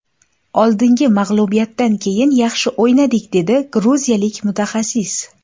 Oldingi mag‘lubiyatdan keyin yaxshi o‘ynadik”, dedi gruziyalik mutaxassis.